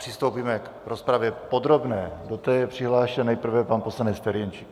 Přistoupíme k rozpravě podrobné, do které je přihlášen nejprve pan poslanec Ferjenčík.